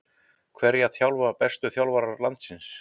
Hverja þjálfa bestu þjálfarar landsins?